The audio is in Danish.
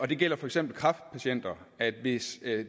det gælder for eksempel kræftpatienter hvis